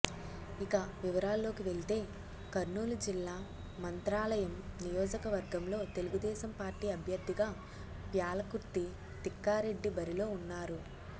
ఇక వివరాల్లోకి వెళితే కర్నూలు జిల్లా మంత్రాలయం నియోజకవర్గంలో తెలుగుదేశం పార్టీ అభ్యర్థిగా ప్యాలకుర్తి తిక్కారెడ్డి బరిలో ఉన్నారు